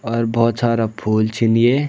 और भौत सारा फूल छिन ये।